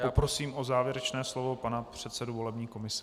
Poprosím o závěrečné slovo pana předsedu volební komise.